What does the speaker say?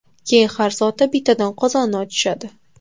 Keyin har soatda bittadan qozonni ochishadi.